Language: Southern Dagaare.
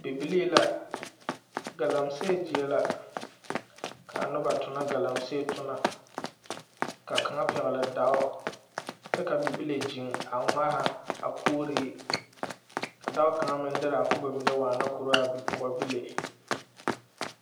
Bibilee la galamse la kaa noba tonɔ galamse tona ka kaŋa pɛgle dao kyɛ ka bibile gyeŋ a ŋmara a kuuri ka dɔɔ kaŋ meŋ derɛ a kubo waana kɔro a bipɔgebile